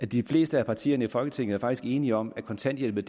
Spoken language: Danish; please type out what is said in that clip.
de fleste partier i folketinget er faktisk enige om at kontanthjælpen